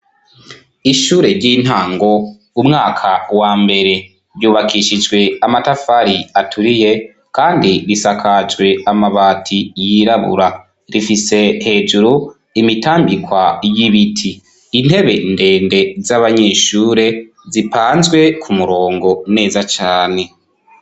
Ishure ry'intango umwaka wa mbere ,ryubakishijwe amatafari aturiye, kandi risakajwe amabati y'irabura ,rifise hejuru imitambikwa y'ibiti ,intebe ndende z'abanyeshure zipanzwe ku murongo neza cane.